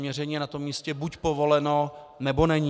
Měření je na tom místě buď povoleno, nebo není.